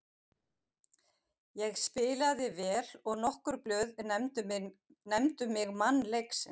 Ég spilaði vel og nokkur blöð nefndu mig mann leiksins.